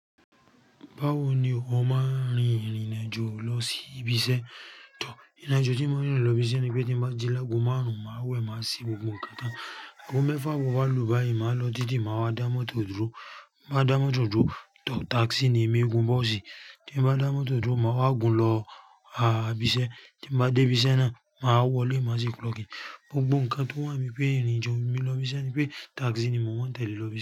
Bawo ni o máa rin ìrìnàjò lọ sí ibiṣẹ́? Ìrìnàjò tí mo n rìn lọ ibiṣẹ́ ni pé tí mo bá ji lago márùn-ún, màá wẹ̀ má se gbogbo nkán. T'ago mẹ́fà abọ́ bá lùú báyìí, màá lọ títí màá wá dá mọ́tò dúró. Mo máa dá mọ́tò dúró, tákísì ni emí é gun bọ́ọ̀sì. Maa wa gun lọ ibi iṣẹ. Tí mo bá dé ibiṣẹ́ náà, màá wọlé, màá sì clock in. Gbogbo nǹkan tó wà ní pé ìrìnàjò mi ló ibiṣẹ́ ni pé tákísì ni mò ń tẹ̀lé lọ ibiṣẹ́